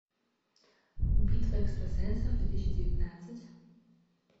битва экстрасенсов две тысячи девятнадцать